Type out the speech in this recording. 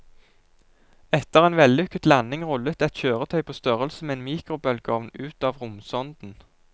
Etter en vellykket landing rullet et kjøretøy på størrelse med en mikrobølgeovn ut av romsonden.